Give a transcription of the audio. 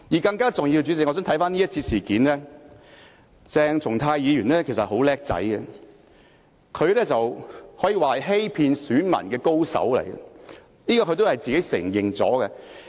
更重要的是，代理主席，回看這次事件，鄭松泰議員其實很聰明，他可以說是欺騙選民的高手，這一點他也承認了。